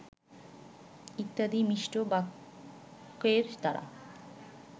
ইত্যাদি মিষ্ট বাক্যের দ্বারা